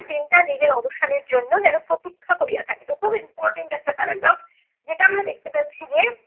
দিনটা নিজের অবসানের জন্য যেনো প্রতীক্ষা করিয়া থাকে। তো খুব important একটা paragraph যেটা আমরা দেখতে পাচ্ছি যে